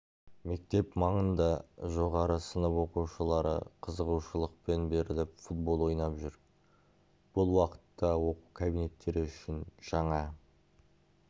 мектеп маңында жоғары сынып оқушылары қызығушылықпен беріліп футбол ойнап жүр бұл уақытта оқу кабинеттері үшін жаңа